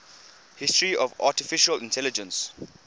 history of artificial intelligence